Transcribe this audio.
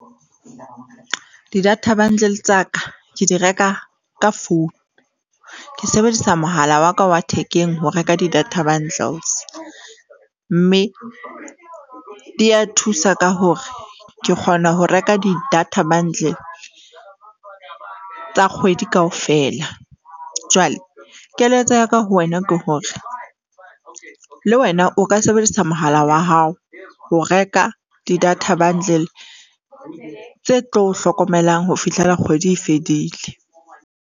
Di-data bundle tsa ka ke di reka ka phone. Ke sebedisa mohala wa ka wa thekeng ho reka di-data bundles, mme di a thusa ka hore ke kgona ho reka di-data bundle tsa kgwedi kaofela. Jwale keletso ya ka ho wena ke hore le wena o ka sebedisa mohala wa hao ho reka di data bundle tse tlo o hlokomelang ho fihlela kgwedi e fedile.